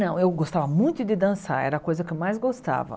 Não, eu gostava muito de dançar, era a coisa que eu mais gostava.